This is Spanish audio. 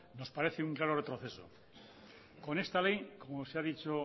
nos parece un claro retroceso con esta ley como se ha dicho